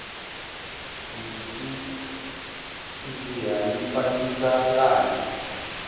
minsiha yi fambisa ngati